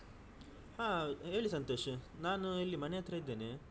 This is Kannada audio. ಹಾ ಹೇಳಿ ಸಂತೋಷ್ ನಾನು ಇಲ್ಲಿ ಮನೆ ಹತ್ರ ಇದ್ದೇನೆ.